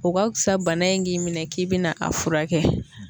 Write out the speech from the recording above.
O ka kusa bana in k'i minɛn k'i bɛna a fura kɛ.